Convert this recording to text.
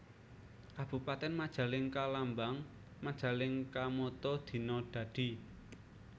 Kabupatèn MajalengkaLambang MajalengkaMotto Dina Dadi